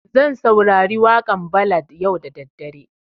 Zan saurari waƙan ballad yau da daddare